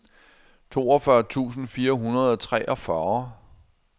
toogfyrre tusind fire hundrede og treogfyrre